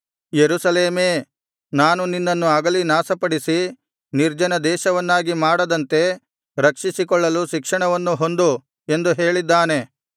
ಯೆರೂಸಲೇಮೇ ನಾನು ನಿನ್ನನ್ನು ಅಗಲಿ ನಾಶಪಡಿಸಿ ನಿರ್ಜನ ದೇಶವನ್ನಾಗಿ ಮಾಡದಂತೆ ರಕ್ಷಿಸಿಕೊಳ್ಳಲು ಶಿಕ್ಷಣವನ್ನು ಹೊಂದು ಎಂದು ಹೇಳಿದ್ದಾನೆ